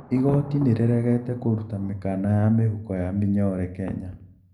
Igoti niriregete kũruta mikana ya mihuko ya minyore Kenya.